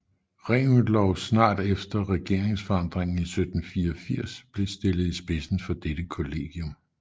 Reventlow snart efter regeringsforandringen i 1784 blev stillet i spidsen for dette kollegium